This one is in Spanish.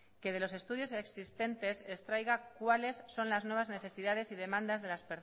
que de los estudios existentes extraiga cuales son las nuevas necesidades y demandas de las